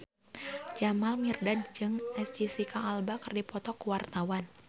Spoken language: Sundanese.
Jamal Mirdad jeung Jesicca Alba keur dipoto ku wartawan